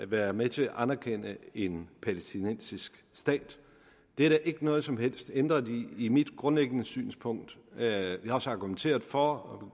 være med til at anerkende en palæstinensisk stat det er der ikke noget som helst ændret i i mit grundlæggende synspunkt jeg har også argumenteret for og